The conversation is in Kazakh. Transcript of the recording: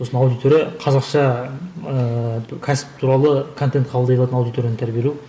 сосын аудитория қазақша ыыы кәсіп туралы контент қабылдай алатын аудиторияны тәрбиелеу